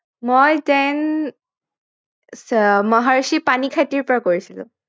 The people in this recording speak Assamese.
মই tenth মহৰ্ষি পানীখাইটিৰ পৰা কৰিছিলো